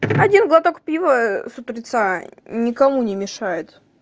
один глоток пива с утреца никому не мешает